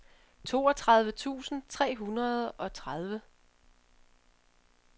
toogtredive tusind tre hundrede og tredive